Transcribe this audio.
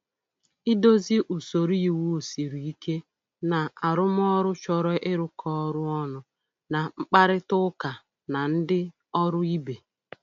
Idozi usoro iwu siri ike na arụmọrụ chọrọ ịrụkọ ọrụ ọnụ na mkparịta ụka na ndị ọrụ ibe.